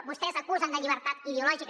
vostès acusen que no hi ha llibertat ideològica